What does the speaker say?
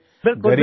बिलकुल बिलकुल